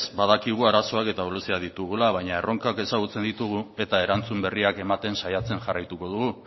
badakigu arazoak eta ahuleziak ditugula baina erronkak ezagutzen ditugu eta erantzun berriak ematen saiatzen jarraituko dugu